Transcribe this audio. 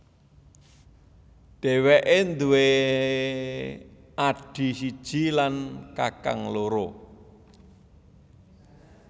Dheweke nduwe adhi siji lan kakang loro